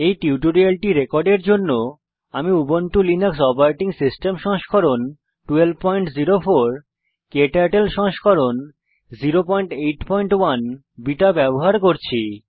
এই টিউটোরিয়ালটি রেকর্ডের জন্য আমি উবুন্টু লিনাক্স ওএস সংস্করণ 1204 ক্টার্টল সংস্করণ 081 বিটা ব্যবহার করছি